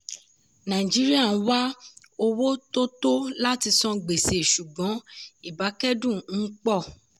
nàìjíríà ń wá owó tó tọ́ láti san gbèsè ṣùgbọ́n ibákẹ́dùn ń pọ̀.